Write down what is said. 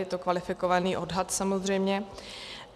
Je to kvalifikovaný odhad samozřejmě.